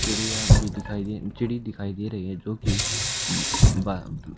चिड़िया भी दिखाई दे चिड़ी दिखाई दे रही है जो कि ब--